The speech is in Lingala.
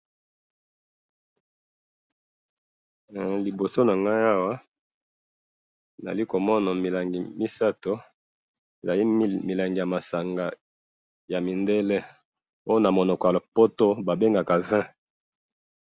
liboso na ngai awa, naza komona milangi misato, ezali milangi ya masanga ya mindele, oyo na monoko ya lopoto ba bengaka vin